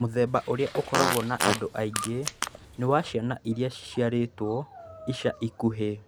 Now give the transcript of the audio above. Mũthemba ũrĩa ũkoragwo na andũ aingĩ nĩ wa ciana iria ciciarĩtwo ica ikuhĩ.